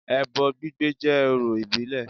Ẹbọ gbígbé jẹ́ ọrọ̀ ìbílẹ̀